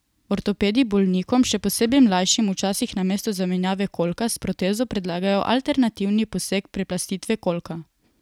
Ortopedi bolnikom, še posebej mlajšim, včasih namesto zamenjave kolka s protezo predlagajo alternativni poseg preplastitve kolka.